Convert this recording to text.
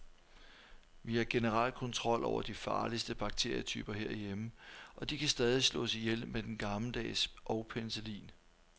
Vi har generelt kontrol over de farligste bakterietyper herhjemme, og de kan stadig slås ihjel med den gammeldags og penicillin.